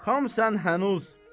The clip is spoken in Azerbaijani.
Xamsan hənuz.